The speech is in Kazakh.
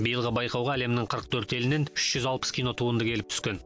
биылғы байқауға әлемнің қырық төрт елінен үш жүз алпыс кинотуынды келіп түскен